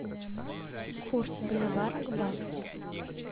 курс боливара к баксу